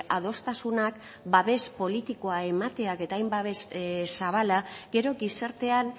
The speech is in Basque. adostasunak babes politikoa emateak eta hain babes zabala gero gizartean